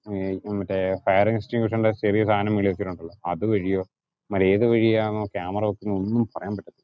മറ്റേ fire extinguisher ഇന്റെ ചെറിയ സാധനം മേലിൽ വെച്ചിട്ടുണ്ട്, അത് വഴിയോ ഇവന്മാര് ഏതു വഴിയാന്നോ കാമറ വയ്ക്കുന്നെന്നു ഒന്നും പറയാൻ പറ്റത്തില്ല.